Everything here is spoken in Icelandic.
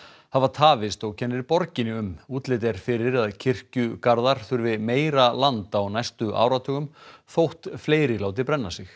hafa tafist og kennir borginni um útlit er fyrir að kirkjugarðar þurfi meira land á næstu áratugum þótt fleiri láti brenna sig